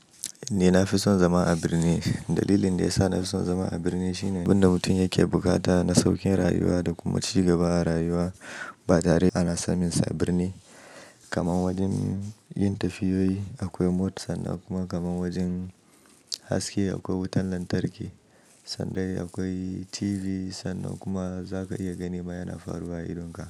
Nina fi son zama a birni. Dalilin da yasa nafi son zama a birni shine, abin da mutum yake buƙata na saukin rayuwa da kuma ci gaba a rayuwa, ba tare ana sanin sa a birni. Kaman wajen yin tafiyoyi akwai mota sannan kuma kaman wajen haske aƙwai wutan lantarki. Sanda aƙwai TV, sannan kuma zaka iya ganima yana faruwa idonka.